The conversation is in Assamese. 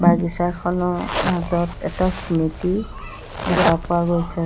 বাগিচাখনৰ মাজত এটা স্মৃতি দেখা পোৱা গৈছে।